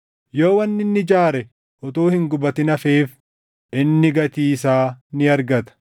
Yoo wanni inni ijaare utuu hin gubatin hafeef inni gatii isaa ni argata.